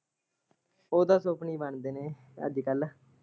ਉਹ ਤਾਂ ਸੁਪਨੇ ਹੀ ਬਣ ਜਣੇ ਆ ਅੱਜ ਕੱਲ।